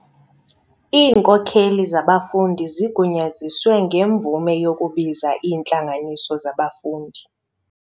Iinkokeli zabafundi zigunyaziswe ngemvume yokubiza iintlanganiso zabafundi.